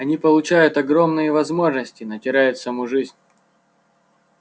они получают огромные возможности но теряют саму жизнь